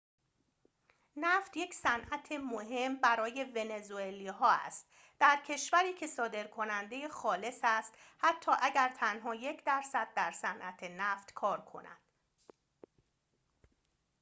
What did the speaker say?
نفت یک صنعت مهم برای ونزوئلا ها است در کشوری که صادرکننده خالص است حتی اگر تنها یک درصد در صنعت نفت کار کند